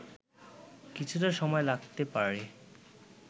কিছুটা সময় লাগতে পারে